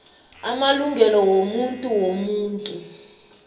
amalungelo wobuntu womuntu